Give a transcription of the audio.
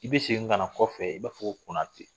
I bɛ segin ka na kɔfɛ i b'a fɔ ko konate.